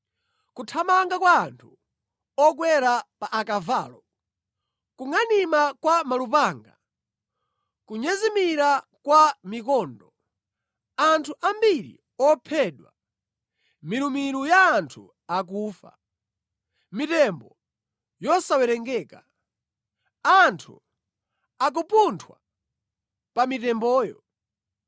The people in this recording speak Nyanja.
Kuthamanga kwa anthu okwera pa akavalo, kungʼanima kwa malupanga ndi kunyezimira kwa mikondo! Anthu ambiri ophedwa, milumilu ya anthu akufa, mitembo yosawerengeka, anthu akupunthwa pa mitemboyo.